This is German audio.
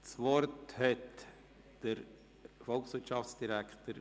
Das Wort hat der Volkswirtschafsdirektor.